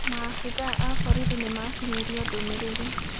Maabitha a borithi nĩmakinyĩrio ndũmĩrĩri